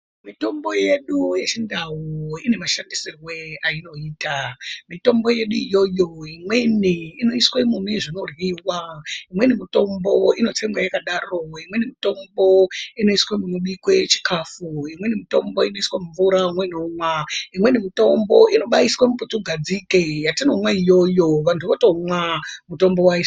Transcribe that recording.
Mitombo yedu yechindau ine mashandisirwe ainoita. Mitombo yedu iyoyo imweni inoiswa mune zvinoryiwa, imweni mitombo inotsengwa yakadaro, imweni mitombo inoiswa munobikwa chikafu, imweni mitombo inoiswa mumvura umweni omwa ,imweni mitombo inobaiswa muputugadzike yatinomwa iyoyo vantu votomwa.